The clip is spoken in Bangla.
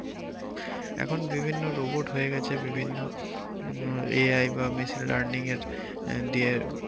এখন বিভিন্ন robot হয়ে গেছে বিভিন্ন উম দিয়ে